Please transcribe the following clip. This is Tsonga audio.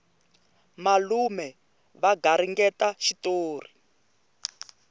malume va garingeta xitori